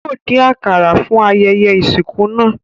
Yóò dín àkàrà fún ayẹyẹ ìsìnkú náà